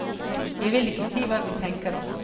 Jeg vil ikke si hva vi tenker oss.